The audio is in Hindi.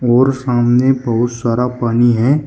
और सामने बहुत सारा पानी है।